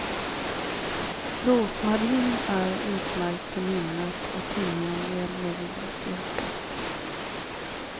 Rosmarin är utmärkt för minnet och timjan ger mod och styrka.